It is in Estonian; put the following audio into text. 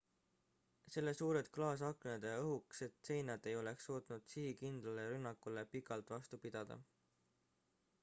selle suured klaasaknad ja õhukesed seinad ei oleks suutnud sihikindlale rünnakule pikalt vastu pidada